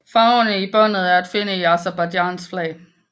Farverne i båndet er at finde i Aserbajdsjans flag